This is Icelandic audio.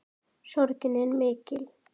Sorgin er mikill.